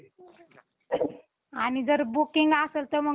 आणि जर booking असेल तर मग